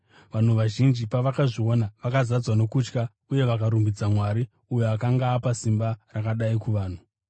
Vanhu vazhinji pavakazviona, vakazadzwa nokutya uye vakarumbidza Mwari uyo akanga apa simba rakadai kuvanhu.